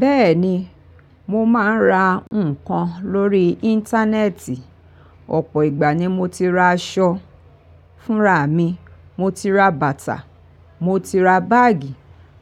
Bẹ́ẹ̀ni, mo máa ń ra nǹkan lórí Íńtánẹ́ẹ̀tì. Ọ̀pọ̀ ìgbà ni mo ti ra aṣọ fún rà mi, mo ti ra bàtà, mo ti ra báàgì.